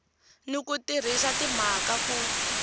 ni ku tirhisa timhaka ku